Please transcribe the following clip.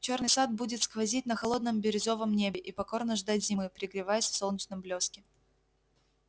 чёрный сад будет сквозить на холодном бирюзовом небе и покорно ждать зимы пригреваясь в солнечном блёске